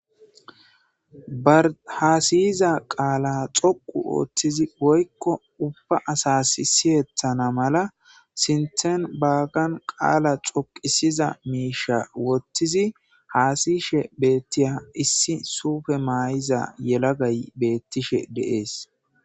barhaasiyiza qaala xoqu ooththizi woykko ubba asas isiyetthana mala sinthen baaggan qaala xoqisiza miisha wottizi haasiyishe beettiya issi suufe maay7iza yelagay beettishe deees